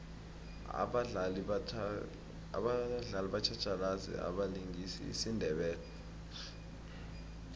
abadlali batjhatjhalazi abalingisa isindebele